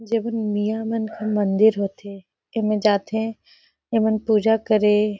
जेमे मीया मन के मंदिर होथे एमा जाथे एमन पूजा करे--